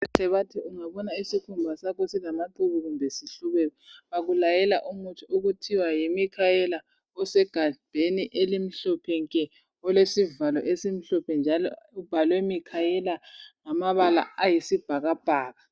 Odokotela bathi ungabona isikhumba sakho silamaqhubu, kumbe sihlubeka. Bakulayela umuthi okuthiwa yiMicaela. Osegabheni elimhlophe nke! Olesivalo esimhlophe, njalo ubhalwe Micaela, ngamabala ayisibhakabhaka.